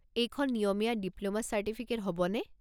এইখন নিয়মীয়া diploma certificate হ'বনে?